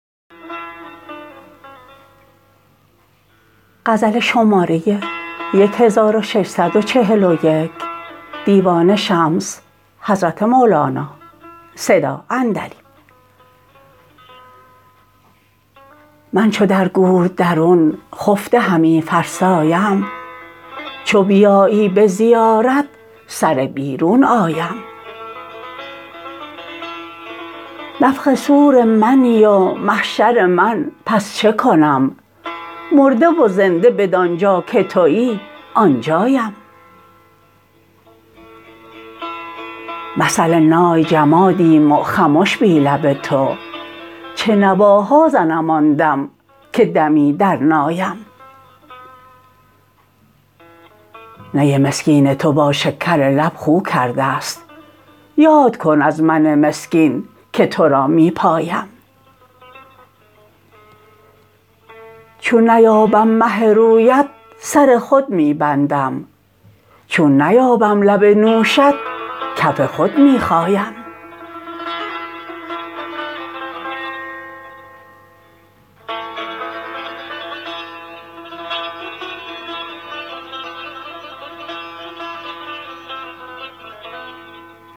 من چو در گور درون خفته همی فرسایم چو بیایی به زیارت سره بیرون آیم نفخ صور منی و محشر من پس چه کنم مرده و زنده بدان جا که توی آن جایم مثل نای جمادیم و خمش بی لب تو چه نواها زنم آن دم که دمی در نایم نی مسکین تو با شکرلب خو کرده ست یاد کن از من مسکین که تو را می پایم چون نیابم مه رویت سر خود می بندم چون نیابم لب نوشت کف خود می خایم